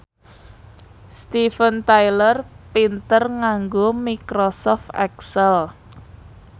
Steven Tyler pinter nganggo microsoft excel